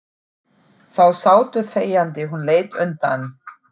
Þá sátu þegjandi, hún leit undan.